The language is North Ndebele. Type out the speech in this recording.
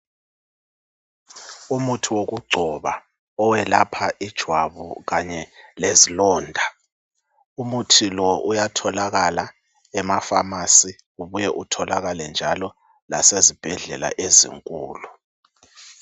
Umuthi wokugcoba owelapha ijwabu kanye lezilonda umuthi uyatholakala ema pharmacy ubuye itholakale njalo lasezibhedlela ezinkulu.